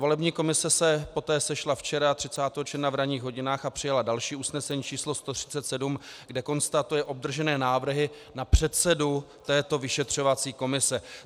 Volební komise se poté sešla včera 30. června v ranních hodinách a přijala další usnesení číslo 137, kde konstatuje obdržené návrhy na předsedu této vyšetřovací komise.